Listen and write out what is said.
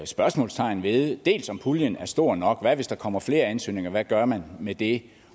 spørgsmålstegn ved dels om puljen er stor nok hvad hvis der kommer flere ansøgninger hvad gør man med det